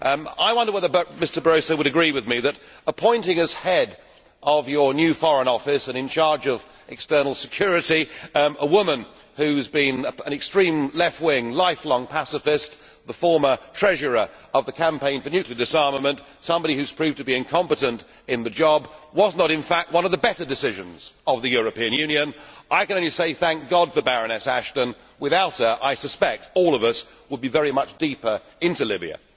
I wonder whether Mr Barroso would agree with me that appointing as Head of your new Foreign Office and in charge of external security a woman who has been an extreme left wing, life long passivist, the former treasurer of the Campaign for Nuclear Disarmament, somebody who has proved to be incompetent in the job, was not in fact one of the better decisions of the European Union. I can only say thank God for Baroness Ashton, without her I suspect all of us would be very much deeper into Libya.